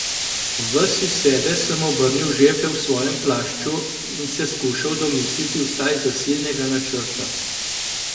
Ves iz sebe sem obrnil žepe v svojem plašču in se skušal domisliti vsaj zasilnega načrta.